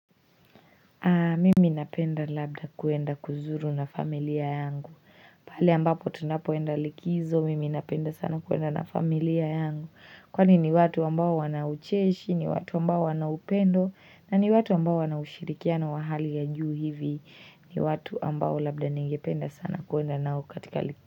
Mimi napenda labda kuenda kuzuru na familia yangu pale ambapo tunapoenda likizo, mimi napenda sana kuenda na familia yangu Kwani ni watu ambao wana ucheshi, ni watu ambao wana upendo na ni watu ambao wana ushirikiano wa hali ya juu hivi ni watu ambao labda ningependa sana kuenda nao katika likizo.